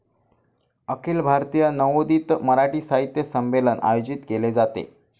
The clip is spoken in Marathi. अखिल भारतीय नवोदित मराठी साहित्य संमेलन आयोजित केले जाते.